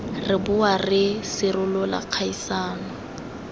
re boa re sirolola kgaisano